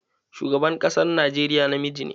Shugaban ƙasar Najeriya namiji ne.